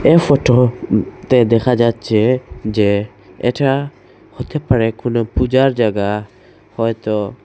এ ফটোতে দেখা যাচ্ছে যে এটা হতে পারে কোনো পূজার জায়গা হয়তো--